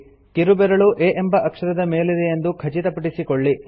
ಕಿರುಬೆರಳು A ಎಂಬ ಅಕ್ಷರದ ಮೇಲಿದೆಯೆಂದು ಖಚಿತಪಡಿಸಿಕೊಳ್ಳಿ